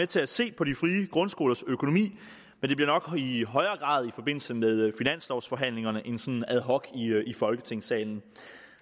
til at se på de frie grundskolers økonomi men det bliver nok i højere grad i forbindelse med finanslovforhandlingerne end ad hoc i folketingssalen